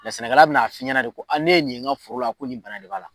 sɛnɛkala bɛna n'a f'i ɲɛna de ko a ne ye nin n ka foro a ko nin bana de b'a la.